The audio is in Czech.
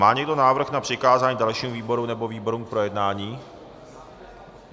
Má někdo návrh na přikázání dalšímu výboru nebo výborům k projednání?